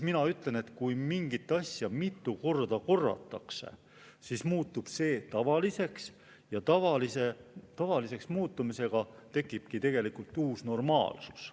Mina ütlen, et kui mingit asja mitu korda korratakse, siis muutub see tavaliseks ja tavaliseks muutumisega tekibki uus normaalsus.